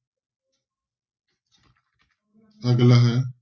ਅਗਲਾ ਹੈ।